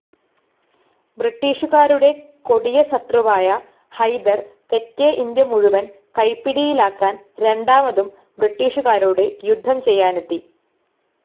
ബ്രിട്ടീഷുകാരുടെ കൊടിയ ശത്രുവായ ഹൈദർ തെക്കേ ഇന്ത്യ മുഴുവൻ കൈപ്പിടിയിലാക്കാൻ രണ്ടാമതും ബ്രിട്ടീഷുകാരോട് യുദ്ധം ചെയ്യാനെത്തി.